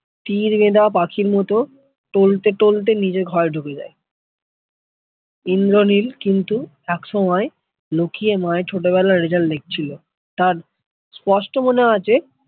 তীর বেধা পাখির মত টলতে টলতে নিজের ঘরে ঢুকে যায় ইন্দ্রনীল কিন্তু একসময় লুকিয়ে মায়ের ছোটবেলার result দেখছিল তার স্পষ্ট মনে আছে